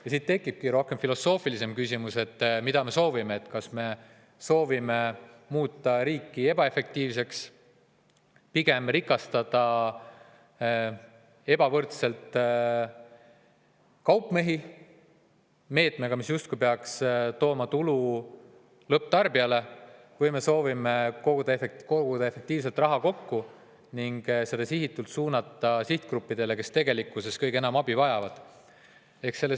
Ja siit tekibki filosoofilisem küsimus, mida me soovime: kas me soovime muuta riiki ebaefektiivseks ja meetmega, mis justkui peaks tooma tulu lõpptarbijale, pigem rikastada kaupmehi või me soovime efektiivselt raha kokku koguda ning suunata selle sihitatult sihtgruppidele, kes tegelikkuses kõige enam abi vajavad?